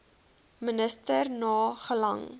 minister na gelang